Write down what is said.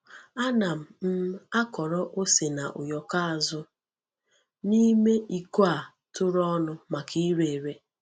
Ana m um akọrọ ose na ụyọkọ azụ n’ime iko a tụrụ ọnụ maka ire ere.